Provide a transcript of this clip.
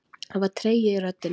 Það var tregi í röddinni.